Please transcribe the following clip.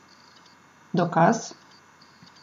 Dokaz?